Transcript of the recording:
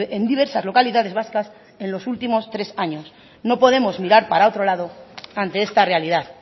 en diversas localidades vascas en los últimos tres años no podemos mirar para otro lado ante esta realidad